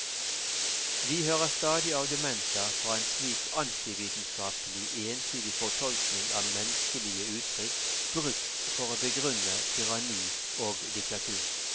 Vi hører stadig argumenter fra en slik antivitenskapelig entydig fortolkning av menneskelige uttrykk brukt for å begrunne tyranni og diktatur.